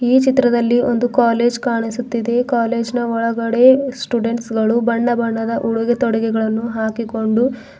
ಈ ಚಿತ್ರದಲ್ಲಿ ಒಂದು ಕಾಲೇಜ್ ಕಾಣಿಸುತ್ತಿದೆ ಕಾಲೇಜ್ ನ ಒಳಗಡೆ ಸ್ಟೂಡೆಂಟ್ಸ್ ಗಳು ಬಣ್ಣ ಬಣ್ಣದ ಉಡುಗೆ ತೊಡುಗೆಗಳನ್ನು ಹಾಕಿಕೊಂಡು--